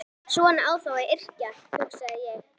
Svona á þá að yrkja, hugsaði ég.